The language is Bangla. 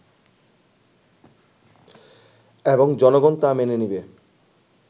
এবং জনগন তা মেনে নিবে